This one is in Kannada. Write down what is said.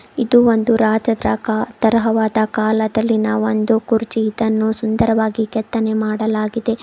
ಇದು ಒಂದು ರಾಜರ ಕಾ ತರಹವಾದ ಕಾಲದಲ್ಲಿನ ಒಂದು ಕುರ್ಚಿ ಇದನ್ನು ಸುಂದರವಾಗಿ ಕೆತ್ತನೆ ಮಾಡಲಾಗಿದೆ.